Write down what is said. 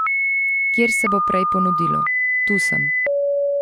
Kjer se bo prej ponudilo, tu sem.